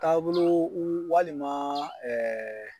Taabolo walima